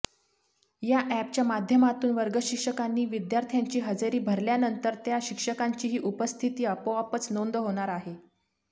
या ऍपच्या माध्यमातून वर्गशिक्षकांनी विद्यार्थ्यांची हजेरी भरल्यानंतर त्या शिक्षकांचीही उपस्थिती आपोआपच नोंद होणार आहे